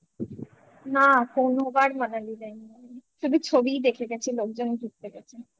না কোনোবার Manali যায়নি শুধু ছবিই দেখে গেছি লোকজন ঘুরতে গেছে